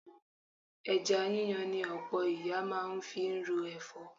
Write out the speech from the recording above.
Ẹja yíyan ni ọ̀pọ̀ ìyá máa ń fi ro ẹ̀fọ́